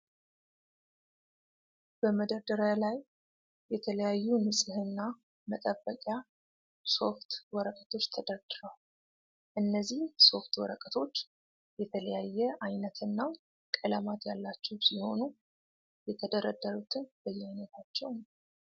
በመደርደሪያ ላይ የተለያዩ ንጽህና መጠበቂያ ሶፍት ወረቀቶች ተደርድረዋል። እነዚህ ሶፍት ወረቀቶች የተለያየ አይነት እና ቀለማት ያላቸው ሲሆኑ የተደረደሩትም በየአይነታቸው ነው።